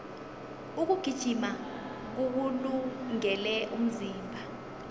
ukugijima kuwulungele umzimba